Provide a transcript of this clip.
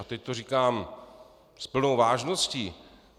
A teď to říkám s plnou vážností.